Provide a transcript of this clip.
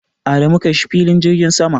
Adamu kai shi filin jirgin sama.